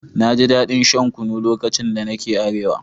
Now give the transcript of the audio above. Na ji daɗin shan kunu lokacin da nake Arewa